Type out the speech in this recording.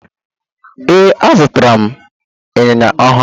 Ee, azụtara m ịnyịnya ọhụrụ.